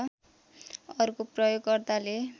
अर्को प्रयोगकर्ताले